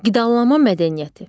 Qidalanma mədəniyyəti.